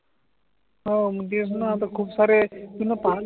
हव मग तेच णा आता खूपसारे मीन पाहिले